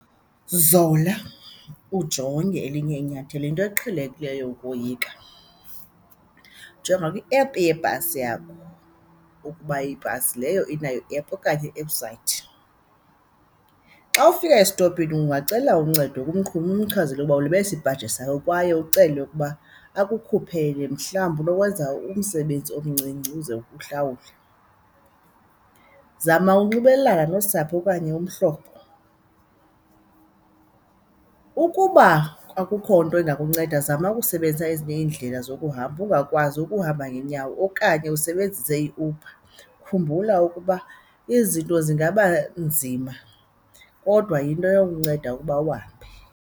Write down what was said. Zola, ujonge elinye inyathelo. Yinto eqhelekileyo ukoyika, jonga kwiephu yebhasi yakho ukuba ibhasi leyo inayo iephu okanye iwebhusayithi. Xa ufika esitopini ungacela uncedo kumqhubi, umchazele uba ulibele isipaji esakho kwaye ucele ukuba akukhuphele mhlawumbi unokwenza umsebenzi omncinci uze uhlawule. Zama ukunxibelelana nosapho okanye umhlobo, ukuba akukho nto ingakunceda zama ukusebenzisa ezinye iindlela zokuhamba ungakwazi ukuhamba ngeenyawo okanye usebenzise iUber. Khumbula ukuba izinto zingaba nzima kodwa yinto eyokunceda ukuba uhambe.